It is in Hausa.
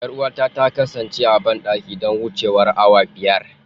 Yar'uwata ta kasance a bandaki don wucewar awa biyar.